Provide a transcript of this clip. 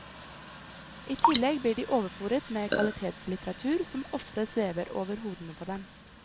I tillegg blir de overfôret med kvalitetslitteratur som ofte svever over hodene på dem.